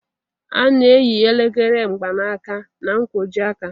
A na-eyi elekere mgbanaka na-nkwojiaka.